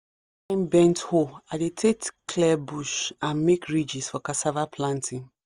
one kind bent hoe i dey take clear bush and make ridges for cassava planting